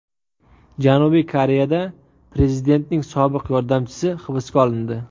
Janubiy Koreyada prezidentning sobiq yordamchisi hibsga olindi.